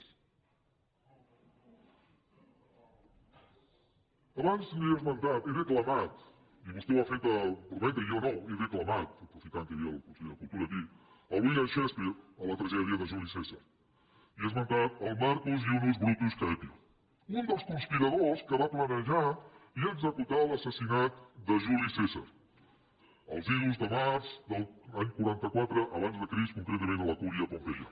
abans li he esmentat he declamat i vostè ha fet brometa i jo no he declamat aprofitant que hi havia el conseller de cultura aquí el william shakespeare a la tragèdia de juli cèsarnius brutus caepio un dels conspiradors que va planejar i executar l’assassinat de juli cèsar als idus de març de l’any quaranta quatre abans de crist concretament a la cúria pompeia